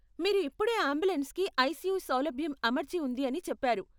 మీరు ఇప్పుడే అంబులెన్స్కి ఐసీయూ సౌలభ్యం అమర్చి ఉంది అని చెప్పారు.